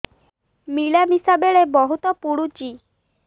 ମିଳାମିଶା ବେଳେ ବହୁତ ପୁଡୁଚି